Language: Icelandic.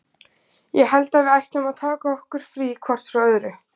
Ég held að við ættum að taka okkur frí hvort frá öðru.